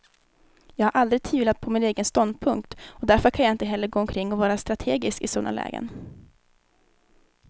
Jag har aldrig tvivlat på min egen ståndpunkt, och därför kan jag inte heller gå omkring och vara strategisk i sådana lägen.